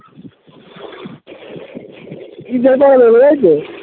ঈদ এর পরে